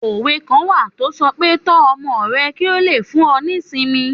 Òwe kan wà tó sọ pé Tọ́ ọmọ rẹ kí ó lè fún ọ ní ìsinmi